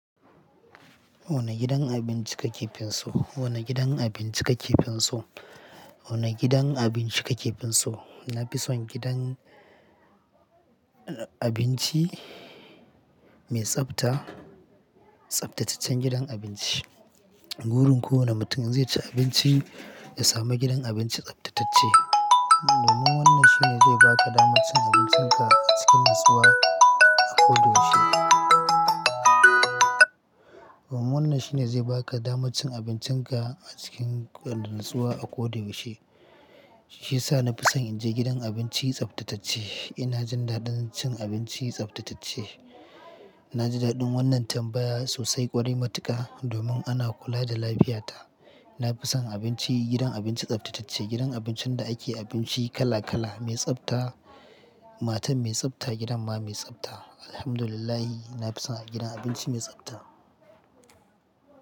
Wane gidan abinci ka ke fin so? Wane gidan abinci ka ke fin so? Wane gidan abinci ka ke fin so? Na fi son gidan abinci mai tsabta, tsabtataccen gidan abinci. Burin kowane mutum zai ci abinci, ya samu gidan abinci tsabtatacce. Domin wannan shi ne zai baka damar cin abincinka a cikin natsuwa a ko da yaushe. Wannan shine zai baka damar cin abincinka a cikin natsuwa a ko da yaushe. Shiyasa na fi son in je gidan abinci tsabtatacce. Ina jin daɗin cin abinci tsabtatacce. Na ji daɗin wannan tambaya sosai ƙwarai matuƙa domin ana kula da lafiyata. Na fi son abinci, gidan abinci tsabtatacce, gidan abincin da ake abinci kala-kala, mai tsabta, matar mai tsabta, gidan ma mai tsabta. Alhamdulillah, na fi son gidan abinci mai tsabta.